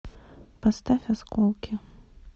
поставь осколки